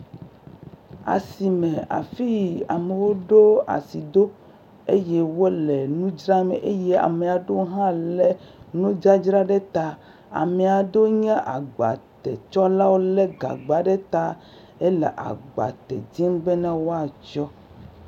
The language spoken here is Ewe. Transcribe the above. Asi me. Afi yike amewo ɖo asi ɖo eye wole nu dzram eye ame ame aɖewo hã le nu dzadza ɖe ta. Ame aɖewo hã nye agbate tsɔlawo le gagba ɖe ta. Ele agbate dim be ne woatsɔ.